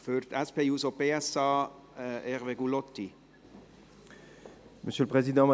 Für die SP-JUSO-PSA-Fraktion: Hervé Gullotti.